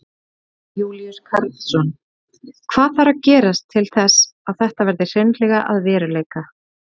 Jón Júlíus Karlsson: Hvað þarf að gerast til þess að þetta verði hreinlega að veruleika?